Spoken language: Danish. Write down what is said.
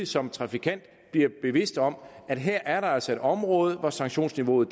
som trafikant bliver bevidst om at her er der altså et område hvor sanktionsniveauet